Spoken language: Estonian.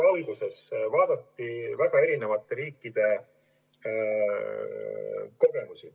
Alguses vaadati väga erinevate riikide kogemusi.